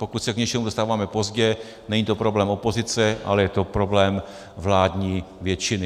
Pokud se k něčemu dostáváme pozdě, není to problém opozice, ale je to problém vládní většiny.